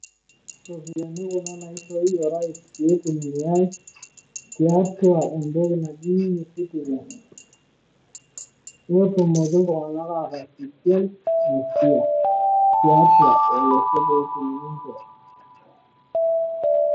Iropiyiani kuna naishooyie orais pee itumiai tiatua entoki naji ecitizen pee etumoki iltung'anak tiatua olosho.